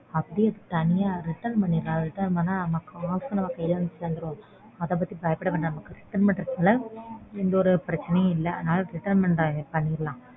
அதை அப்படியே தனியா return பண்ணிரலாம். அத return பண்ணா காச நம்ம கையில தந்துருவாங்க அத பத்தி பயப்படவேண்டாம். நமக்கு return பண்றதுனால எந்த ஒரு பிரச்சனையும் இல்ல அதனால return return பண்ணிரலாம்.